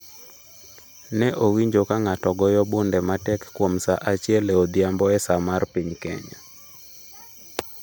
Ne owinjo ka ng’ato goyo bunde matek kuom saa achiel e odhiambo e saa mar piny Kenya.